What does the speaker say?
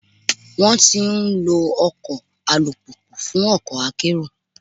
Wọ́n ti ń lọ ọkọ̀ alùpùpù fún ọkọ̀ akérò.